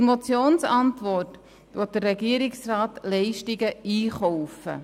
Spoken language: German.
Gemäss der Motionsantwort will der Regierungsrat Leistungen einkaufen.